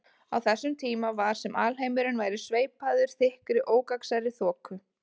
Á þessum tíma var sem alheimurinn væri sveipaður þykkri ógagnsærri þoku.